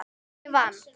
Ég vann!